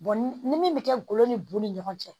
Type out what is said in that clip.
ni min bɛ kɛ golo ni bun ni ɲɔgɔn cɛ